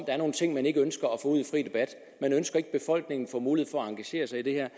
er nogle ting man ikke ønsker at man ønsker ikke at befolkningen får mulighed for at engagere sig i det her